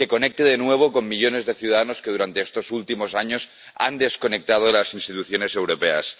que conecte de nuevo con millones de ciudadanos que durante estos últimos años han desconectado de las instituciones europeas